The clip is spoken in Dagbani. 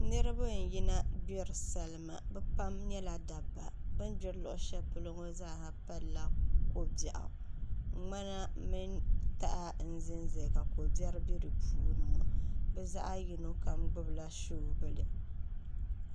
Niraba n yina gbiri salima bi pam nyɛla dabba bin gbiri luɣushɛli polo ŋo zaaha palla ko biɛɣu ŋmana mini taha n ʒɛnʒɛya ka ko biɛri bɛ di puuni bi zaɣ yino kam gbunila soobuli